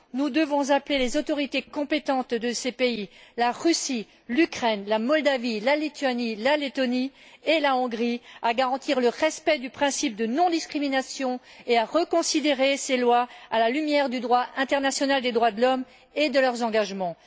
Nous devons appeler les autorités compétentes de ces pays la Russie, l'Ukraine, la Moldavie, la Lituanie, la Lettonie et la Hongrie à garantir le respect du principe de non discrimination et à reconsidérer ces lois à la lumière du droit international en matière de droits de l'homme et de leurs engagements.